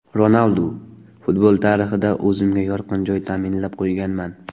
Ronaldu: Futbol tarixida o‘zimga yorqin joy ta’minlab qo‘yganman.